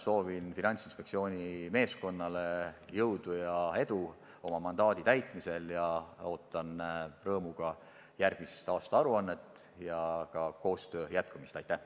Soovin Finantsinspektsiooni meeskonnale jõudu ja edu oma mandaadi täitmisel ning ootan rõõmuga järgmist aastaaruannet ja ka koostöö jätkumist!